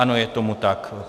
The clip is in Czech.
Ano, je tomu tak.